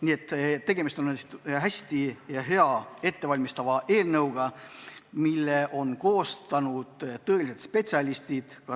Nii et tegemist on hea ettevalmistava eelnõuga, mille on koostanud tõelised spetsialistid.